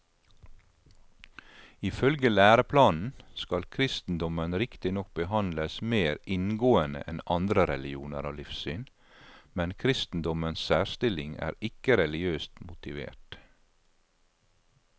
Ifølge læreplanen skal kristendommen riktignok behandles mer inngående enn andre religioner og livssyn, men kristendommens særstilling er ikke religiøst motivert.